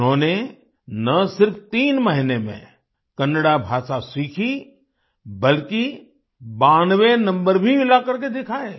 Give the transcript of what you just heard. उन्होंने ना सिर्फ तीन महीने में कन्नड़ा भाषा सीखी बल्कि 92वे नम्बर भी लाकर के दिखाए